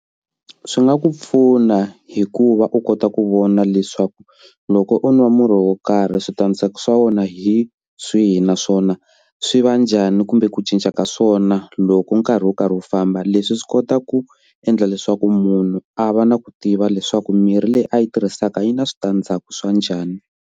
Swi nga ku pfuna hikuva u kota ku vona leswaku loko o nwa murhi wo karhi switandzhaku swa wona hi swihi naswona swi va njhani kumbe ku cinca ka swona loko nkarhi wu karhi wu famba leswi swi kota ku endla leswaku munhu a va na ku tiva leswaku mirhi leyi a yi tirhisaka yi na switandzhaku swa njhani.